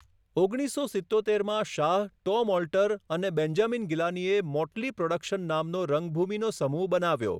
ઓગણીસસો સિત્તોતેરમાં Shah, Tom Alter અને બેન્જામિન ગિલાનીએ મોટલી પ્રોડક્શન નામનો રંગભૂમિનો સમૂહ બનાવ્યો.